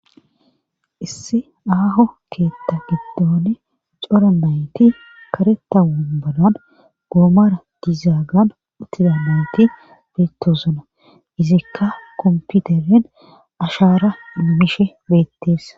issi aaho keetha giddoone cora nayti kareta unbanan goomara dizaagan uttidanayti beettosona izikka komputeren ashaara mishe beetteessa